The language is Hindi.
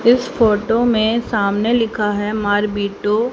इस फोटो में सामने लिखा है मार बीटू--